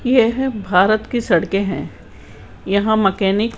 यह भारत की सड़कें हैं यहां मैकेनिक --